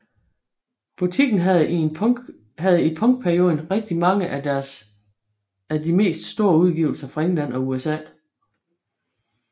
Butikken havde i punkperioden rigtig mange af de mest store udgivelser fra England og USA